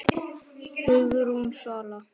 Hugrún Svala.